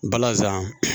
Balazan